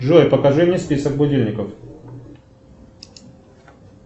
джой покажи мне список будильников